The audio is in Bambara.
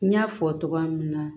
N y'a fɔ cogoya min na